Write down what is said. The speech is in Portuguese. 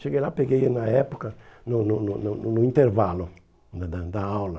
Cheguei lá, peguei na época, no no no no no intervalo né da da aula.